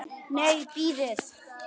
Nei, bíðið.